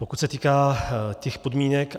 Pokud se týká těch podmínek.